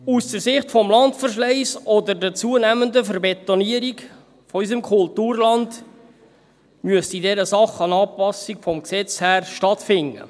Angesichts des Landverschleisses oder der zunehmenden «Verbetonierung» unseres Kulturlands müsste in dieser Sache eine Anpassung vom Gesetz her stattfinden.